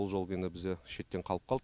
ол жол енді бізде шеттен қалып қалды